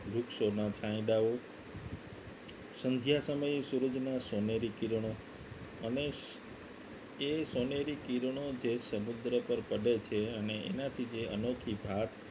વૃક્ષોના છાંયડાઓ સંધ્યા સમયે સૂરજના સોનેરી કિરણો અને એ સોનેરી કિરણો જે સમુદ્ર પર પડે છે અને એનાથી જે અનોખી ભાત